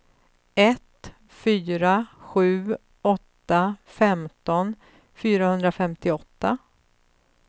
ett fyra sju åtta femton fyrahundrafemtioåtta